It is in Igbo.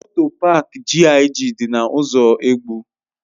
Moto paak GIG dị na ụzọ Egbu.